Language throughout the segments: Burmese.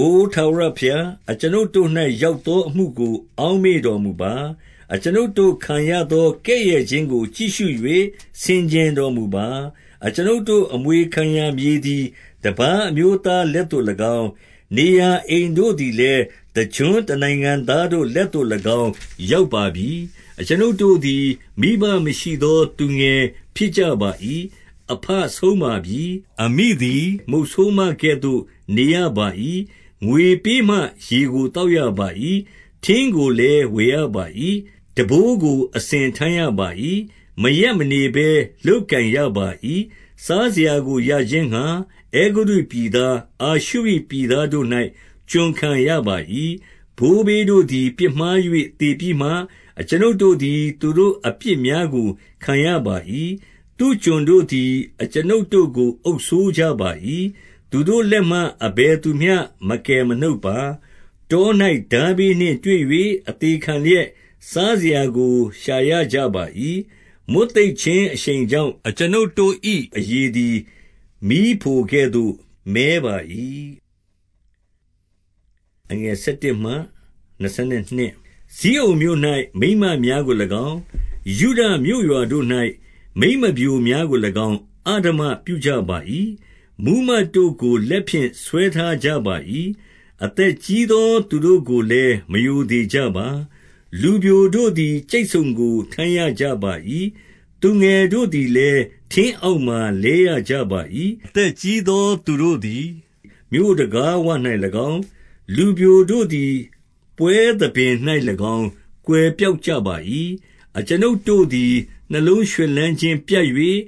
အိုထာဝရဘုရား၊အကျွန်ုပ်တို့၌ရောက်သော အမှုကို အောက်မေ့တော်မူပါ။ အကျွန်ုပ်တို့ခံရသော ကဲ့ရဲ့ခြင်းကိုကြည့်ရှု၍ ဆင်ခြင်တော်မူပါ။ အကျွန်ုပ်တို့ အမွေခံရာမြေသည် တပါး အမျိုးသားလက်သို့၎င်း၊ နေရာအိမ်တို့သည်လည်း တကျွန်းနိုင်ငံသားတို့လက်သို့၎င်း ရောက်ပါပြီ။ အကျွန်ုပ်တို့သည် မိဘမရှိသော သူငယ်ဖြစ်ကြ ပါ၏။ အဘဆုံးပါပြီ။ အမိသည်မုတ်ဆိုးမကဲ့သို့နေရပါ၏။ ငွေပေးမှရေကို သောက်ရပါ၏။ ထင်းကိုလည်း ဝယ်ရပါ၏။ ထမ်းဘိုးကိုအစဉ်ထမ်းရပါ၏။ မရပ်မနေဘဲ လုပ်ကိုင်ရပါ၏။ စားစရာကိုရခြင်းငှါ အဲဂုတ္တုပြည်သား၊ အာရှုရိ ပြည်သားတို့၌ ကျွန်ခံရပါ၏။ ဘိုးဘေးတို့သည်ပြစ်မှား၍ သေပြီးမှ၊ အကျွန်ုပ် တို့သည် သူတို့ အပြစ်များကို ခံရပါ၏။ သူ့ကျွန်တို့သည် အကျွန်ုပ်တို့ကိုအုပ်စိုးကြပါ၏။ သူတို့လက်မှ အဘယ်သူမျှမကယ်မနှုတ်ပါ။ တော၌ထားဘေးနှင့်တွေ့၍ အသေခံလျက် စားစရာကို ရှာရကြပါ၏။ မိတ်သိပ်ခြင်းအရှိန်ကြောင့် အကျွန်ုပ်တို့၏ အရေသည် မီးဖိုကဲ့သို့ မည်းပါ၏။ ဇိအုန်မြို့၌မိန်းမများကို၎င်း၊ ယုဒမြို့ရွာတို့၌ မိန်းမပျိုများကို၎င်း၊ အဓမ္မပြုကြပါ၏။ မှူးမတ်တို့ကို လက်ဖြင့် ဆွဲထားကြပါ၏။ အသက်ကြီးသူတို့ကိုလည်း မရိုသေကြပါ။ လူပျိုတို့သည် ကြိတ်ဆုံကို ထမ်းရကြပါ၏။ သူငယ်တို့သည်လည်း ထင်းအောက်မှာလဲရကြပါ၏။ အသက်ကြီးသူတို့သည် မြို့တံခါးဝ၌၎င်း၊ လူပျို တို့သည် ပွဲသဘင်၌၎င်း ကွယ်ပျောက်ကြပါ၏။ အကျွန်ုပ်တို့သည် နှလုံးရွှင်လန်းခြင်းပြတ်၍၊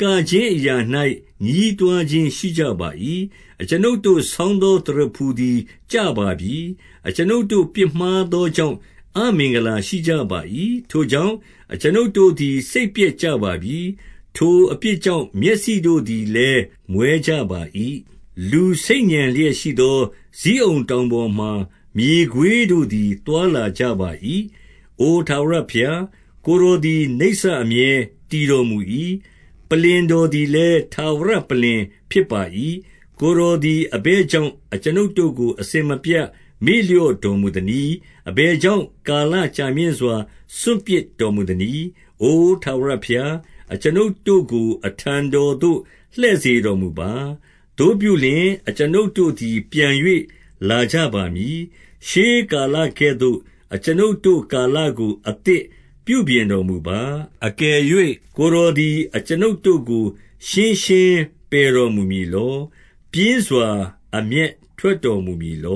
ကခြင်းအရာ၌ ညည်းတွားခြင်း ရှိကြပါ၏။ အကျွန်ုပ်တို့ဆောင်းသော သရဖူသည်ကျပါပြီ။ အကျွန်ုပ်တို့သည် ပြစ်မှားသောကြောင့် အမင်္ဂလာ ရှိကြပါ၏။ ထိုကြောင့်အကျွန်ုပ်တို့သည်စိတ်ပျက်ကြပါပြီ။ ထိုအပြစ်ကြောင့် မျက်စိတို့သည်လည်း မွဲကြပါ၏။ လူဆိတ်ညံလျက်ရှိသော ဇိအုန်တောင်ပေါ်မှာ မြေခွေးတို့သည် သွားလာကြပါ၏။ အိုထာဝရဘုရား၊ ကိုယ်တော်သည် နိစ္စ အမြဲ တည်တော်မူ၏။ ပလ္လင်တော်သည်လည်း ထာဝရပလ္လင် ဖြစ်ပါ၏။ ကိုယ်တော်သည် အဘယ်ကြောင့်အကျွန်ုပ်တို့ကို အစဉ်မပြတ် မေ့လျော့တော်မူသနည်း။ အဘယ်ကြောင့် ကာလကြာမြင့်စွာ စွန့်ပစ်တော်မူသနည်း။ အိုထာဝရဘုရား၊ အကျွန်ုပ်တို့ကိုအထံတော်သို့ လှည့်စေတော်မူပါ။ သို့ပြုလျှင်၊ အကျွန်ုပ်တို့သည်ပြန်၍ လာကြပါမည်။ ရှေးကာလကဲ့သို့ အကျွန်ုတို့ကာလကို အသစ်ပြုပြင်တော်မူပါ။ အကယ်၍ ကိုယ်တော်သည်အကျွန်ုပ်တို့ကို ရှင်းပယ်တော်မူမည်လော။ ပြင်းစွာအမျက်ထွက်တော် မူမည်လေ